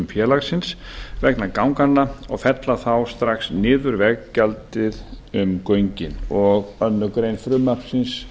félagsins vegna ganganna og fella þá strax niður veggjaldið um göngin og aðra grein frumvarpsins